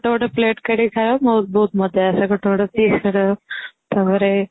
ଗୋଟେ ଗୋଟେ plate କାଢି କି ଖାଇବା ବହୁତ ମଜା ଆସେ ଗୋଟେ ଗୋଟେ piece କରିବା କୁ ତା ପରେ